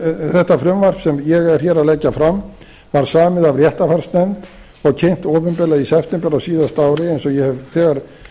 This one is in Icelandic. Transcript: þetta frumvarp sem ég er að leggja fram var samið af réttarfarsnefnd og kynnt opinberlega í september á síðasta ári eins og ég hef þegar